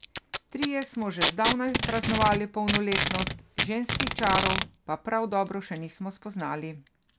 Trije smo že zdavnaj praznovali polnoletnost, ženskih čarov pa prav dobro še nismo spoznali.